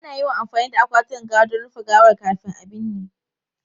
Ana yawan amfani da akwatunan gawa don rufe gawar kafin a binne.